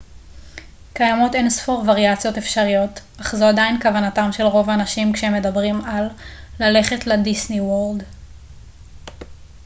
קיימות אינספור וריאציות אפשריות אך זו עדיין כוונתם של רוב האנשים כשהם מדברים על ללכת לדיסני וורלד